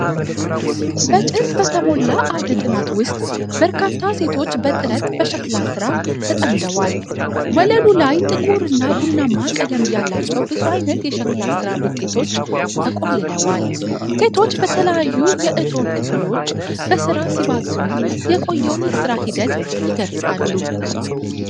በጭስ በተሞላ አውደ ጥናት ውስጥ በርካታ ሴቶች በጥረት በሸክላ ሥራ ተጠምደዋል። ወለሉ ላይ ጥቁር እና ቡናማ ቀለም ያላቸው ብዙ ዓይነት የሸክላ ሥራ ውጤቶች ተቆልለዋል። ሴቶቹ በተለያዩ የእቶን ክፍሎች በሥራ ሲባዝኑ የቆየውን የሥራ ሂደት ይገልጻል።